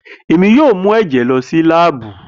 Emi yoo mu ẹjẹ lọ si laabu.